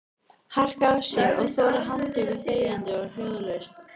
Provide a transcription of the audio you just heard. Harka af sér og þola handtöku þegjandi og hljóðalaust?